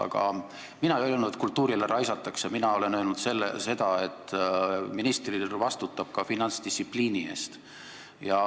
Aga mina ei öelnud, et kultuurile raisatakse raha, mina olen öelnud seda, et minister vastutab ka finantsdistsipliini eest.